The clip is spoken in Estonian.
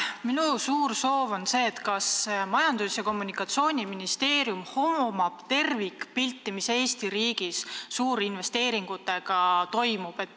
Minu suur soov on see, et Majandus- ja Kommunikatsiooniministeerium hoomaks tervikpilti, mis Eesti riigis suurinvesteeringutega toimub.